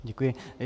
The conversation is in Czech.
Děkuji.